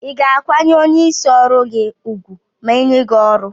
iga akwanye onye isi ọrụgi ugwu ma enye gi ọrụ?